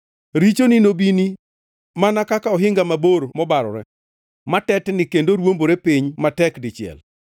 richoni nobini kaka ohinga mabor mobarore, matetni kendo ruombore piny matek dichiel.